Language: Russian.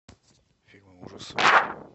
фильмы ужасов